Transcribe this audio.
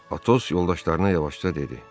Atos yoldaşlarına yavaşca dedi: